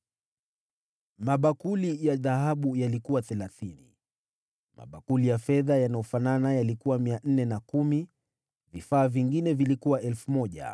mabakuli ya dhahabu yalikuwa 30 mabakuli ya fedha yanayofanana yalikuwa 410 vifaa vingine vilikuwa 1,000.